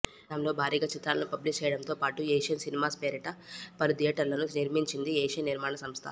నైజాంలో భారీగా చిత్రాలను పబ్లిష్ చేయడంతో పాటు ఏషియన్ సినిమాస్ పేరిట పలు థియేటర్లను నిర్మించింది ఏషియన్ నిర్మాణ సంస్థ